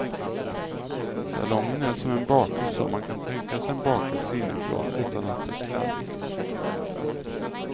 Salongen är som en bakelse om man kan tänka sig en bakelse inifrån utan att bli kladdig.